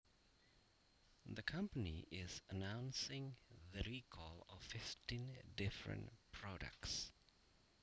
The company is announcing the recall of fifteen different products